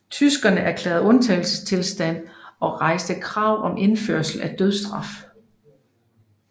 Tyskerne erklærede undtagelsestilstand og rejste krav om indførelse af dødsstraf